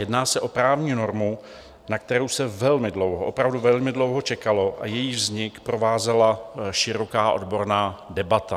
Jedná se o právní normu, na kterou se velmi dlouho, opravdu velmi dlouho čekalo a jejíž vznik provázela široká odborná debata.